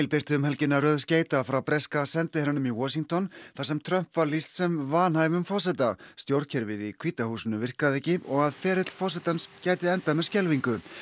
birti um helgina röð skeyta frá breska sendiherranum í Washington þar sem Trump var lýst sem vanhæfum forseta stjórnkerfið í hvíta húsinu virkaði ekki og að ferill forsetans gæti endað með skelfingu